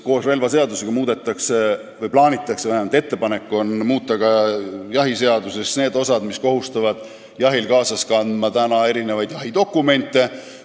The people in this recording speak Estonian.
Koos relvaseadusega muudetakse või vähemalt on ettepanek muuta jahiseaduse neid osi, mis kohustavad jahil kaasas kandma mitmeid jahidokumente.